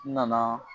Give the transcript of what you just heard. N nana